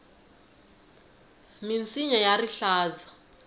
minsinya ya rihlaza